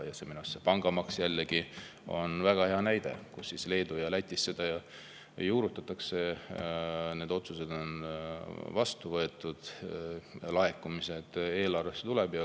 Pangamaks on jällegi väga hea näide, Leedus ja Lätis seda juurutatakse, need otsused on seal vastu võetud, laekumised eelarvesse tulevad.